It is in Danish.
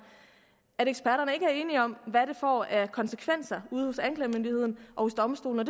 at eksperterne ikke er enige om hvad det får af konsekvenser ude hos anklagemyndigheden og domstolene